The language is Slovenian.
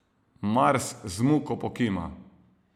Mars z muko pokima.